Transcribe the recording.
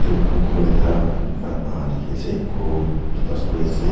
Moikhan koitha ugh dekhe ase kon tuita story ase.